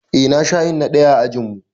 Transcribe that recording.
Eh na sha yin na ɗaya a ajinmu